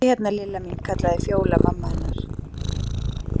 Komdu hérna Lilla mín kallaði Fjóla mamma hennar.